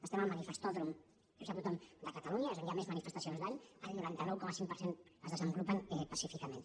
estem al manifestòdrom ho sap tothom de catalunya és on hi han més manifestacions l’any el noranta nou coma cinc per cent es desenvolupen pacíficament